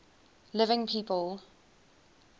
living people